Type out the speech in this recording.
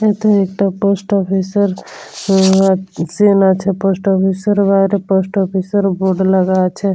এতে একটা post office এর উমমম আর সিন্ আছে পোস্ট অফিস এর বাইরে পোস্ট অফিস এর বোর্ড লাগা আছে ।